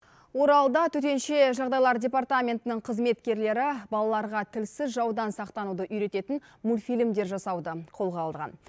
оралда төтенше жағдайлар департаментінің қызметкерлері балаларға тілсіз жаудан сақтануды үйрететін мультфильмдер жасауды қолға алған